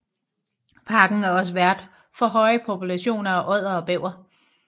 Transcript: Parken er også vært for høje populationer af odder og bæver